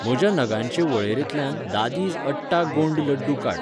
म्हज्या नगांचे वळेरेंतल्यान दादीज अट्टा गोंड लड्डू काड.